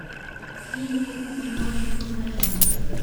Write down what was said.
фильмик таможня покажи мне